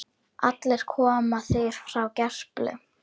Allir koma þeir frá Gerplu.